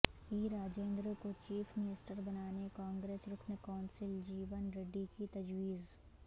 ای راجندر کو chief minister بنانے کانگریس رکن کونسل جیون ریڈی کی تجویز